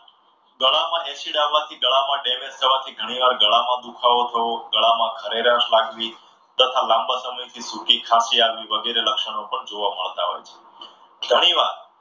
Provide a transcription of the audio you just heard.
ગળામાં acid આવવાથી, ગળામાં damage થવાની ઘણીવાર ગળામાં દુખાવો થવો, ગળામાં ખરેરાશ લાગવી તથા લાંબા સમયથી સુખી ખાસી આવી વગેરે લક્ષણો પણ જોવા મળતા હોય છે. ઘણીવાર